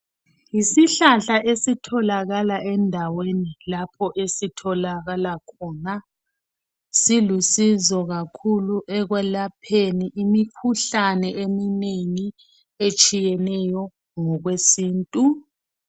Yisihlahla esitholakala endaweni lapha esitholakala khona silusizo kakhulu ekwelapheni imikhuhalne eminengi etshiyeneyo kumbe okwesintu